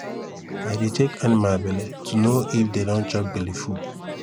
i dey check animal belle to know if dem don chop belleful